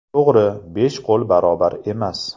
To‘g‘ri, besh qo‘l barobar emas.